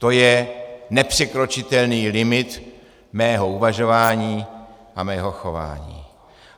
To je nepřekročitelný limit mého uvažování a mého chování.